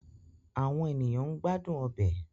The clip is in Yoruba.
Awọn eniyan n gbadun ọbẹ